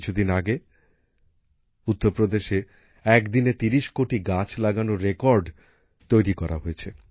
কিছুদিন আগে উত্তরপ্রদেশে এক দিনে তিরিশ কোটি গাছ লাগানোর রেকর্ড তৈরি করা হয়েছে